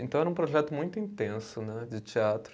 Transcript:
Então, era um projeto muito intenso né de teatro.